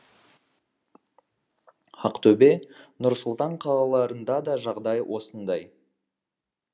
ақтөбе нұр сұлтан қалаларында да жағдай осындай